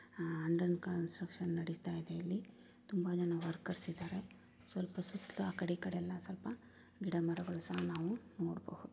ಆಹ್ಹ್ under construction ನಡೀತಾ ಇದೆ ಇಲ್ಲಿ ತುಂಬಾ ಜನ ವರ್ಕರ್ಸ್ ಇದಾರೆ .ಸುತ್ತಲೂ ಸ್ವಲ್ಪ ಗಿಡ ಮರ ಗಳನ್ನು ನಾವು ನೋಡಬಹುದು.